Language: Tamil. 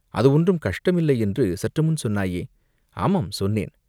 "அது ஒன்றும் கஷ்டமில்லையென்று சற்று முன் சொன்னாயே?" "ஆமாம், சொன்னேன்.